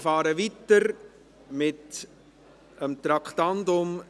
Wir fahren weiter mit dem Traktandum 29.